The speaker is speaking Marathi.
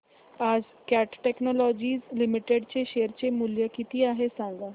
आज कॅट टेक्नोलॉजीज लिमिटेड चे शेअर चे मूल्य किती आहे सांगा